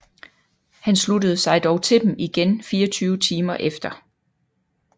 Han sluttede sig dog til dem igen 24 timer efter